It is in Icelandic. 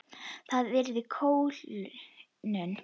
Það yrði kólnun.